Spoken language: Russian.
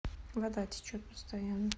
вода течет постоянно